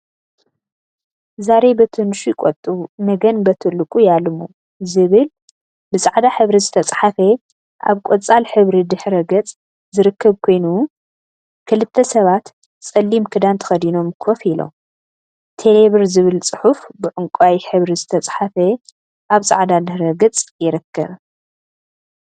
ዛሬ በትንሹ ይቆጥቡ ነገን በትልቁ ያልሙ! ዝብል ብፃዕዳ ሕብሪ ዝተፀሓፈ አብ ቆፃዕ ሕብሪ ድሕረ ገፅ ዝርከብ ኮይኑ፤ ክልተ ሰባት ፀሊም ክዳን ተከዲኖም ኮፍ ኢሎም ፡፡ቴሌብር ዝብል ፅሑፍ ብዕንቋይ ሕብሪ ዝተፀሓፈ አብ ፃዕዳ ድሕረ ገፅ ይርከብ፡፡